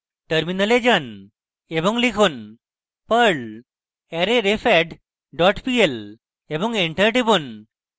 terminal যান এবং লিখুন: perl arrayrefadd dot pl এবং enter টিপুন